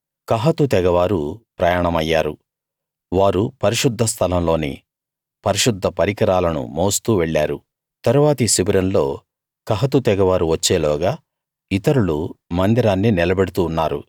కహాతు తెగవారు ప్రయాణమయ్యారు వారు పరిశుద్ధ స్థలంలోని పరిశుద్ధ పరికరాలను మోస్తూ వెళ్ళారు తరువాతి శిబిరంలో కహాతు తెగవారు వచ్చేలోగా ఇతరులు మందిరాన్ని నిలబెడుతూ ఉన్నారు